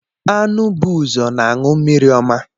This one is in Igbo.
Anụ bu ụzọ na-aṅụ mmiri ọma